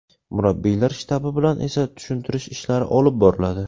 Murabbiylar shtabi bilan esa tushuntirish ishlari olib boriladi.